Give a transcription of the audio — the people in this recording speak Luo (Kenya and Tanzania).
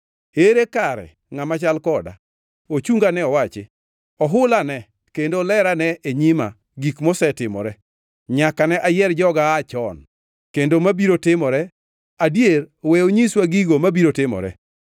Ere kare ngʼama chal koda? Ochungane owachi. Ohulane kendo olerane e nyima gik mosetimore, nyaka ne ayier joga aa chon, kendo mabiro timore; adier we onyiswa gigo mabiro timore.